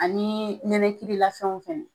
Ani nɛnɛkiri la fɛnw fɛnɛ.